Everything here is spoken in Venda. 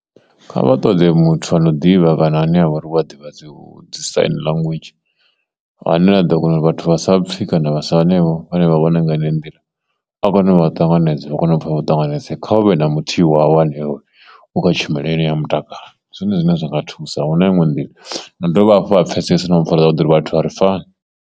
Kha vha ṱoḓe muthu ano ḓivha kana ane ha vha uri vha ḓivha dzo dzi signlanguage, ane vha ḓo kona uri vhathu vha sa pfi kana vha sa hanevho vhane vha vhona nga heneyo nḓila a ṱanganedza vha kone u pfha vho tanganedze kha u vhe na muthihi wavho ane u kha tshumelo yeneyo ya mutakalo zwine zwine zwa nga thusa huna iṋwe nḓila vha dovhe hafhu vha pfhesese na mpfhara zwavhuḓi uri vhathu a ri fani.